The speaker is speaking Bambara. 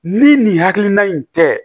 Ni nin hakilina in tɛ